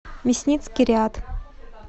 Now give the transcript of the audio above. мясницкий ряд